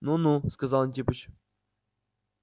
ну ну сказал антипыч